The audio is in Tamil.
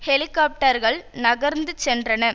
ஹெலிகாப்டர்கள் நகர்ந்து சென்றன